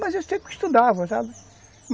Mas eu sempre estudava, sabe?